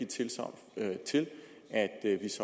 tilsagn